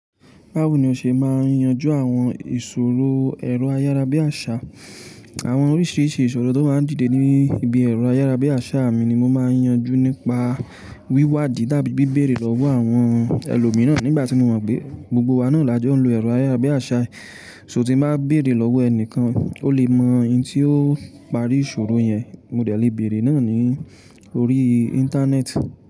Báwo ni o ṣe máa yanjú àwọn ìṣòro ẹ̀rọ ayárabíàṣá? Àwọn oríṣiríṣi ìṣòro tó máa ń dìde ní ibi ẹ̀rọ ayárabíàṣá mi ni mo máa ń yanjú nípa wíwádìí tàbí bibéèrè lọ́wọ́ àwọn ẹlòmíràn nígbà tí mo mọ̀ pé gbogbo wa ni àwọn làjọ wọ́n lo ẹ̀rọ ayárabíàṣá. So tí mo bá béèrè lọ́wọ́ ẹni kan, ó lè mọ ohun tí ó parí ìṣòro yẹn. Mo dè lẹ béèrè náà ní orí Íńtánẹ́ẹ̀tì.